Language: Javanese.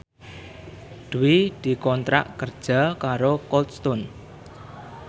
Dwi dikontrak kerja karo Cold Stone